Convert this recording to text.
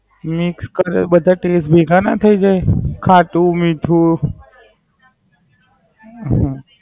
Mixed કરે બધા taste ભેગા ના થાય જાય? ખાટું, મીઠું